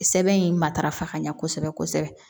Sɛbɛn in matarafa ka ɲɛ kosɛbɛ kosɛbɛ